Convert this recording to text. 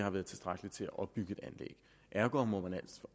har været tilstrækkelig til at opbygge et anlæg ergo må man